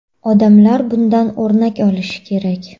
Odamlar bundan o‘rnak olishi kerak.